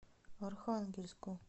архангельску